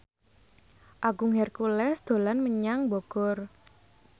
Agung Hercules dolan menyang Bogor